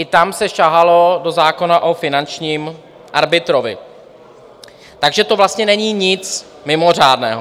I tam se sahalo do zákona o finančním arbitrovi, takže to vlastně není nic mimořádného.